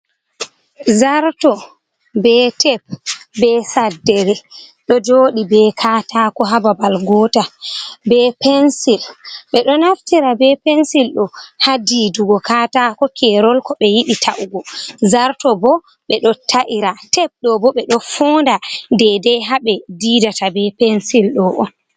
Zarto, be tep, be saddere, ɗo jooɗi be katako ha babal gotal, be pensil, ɓe ɗo naftira be pensil ɗo ha diidugo katako kerol ko ɓe yiɗi ta’ugo, zarto bo ɓe ɗo ta’ira, tep ɗo bo ɓe ɗo foonda dedei ha ɓe diidata be pensil ɗo on.